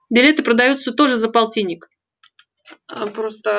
билеты продаются тоже за полтинник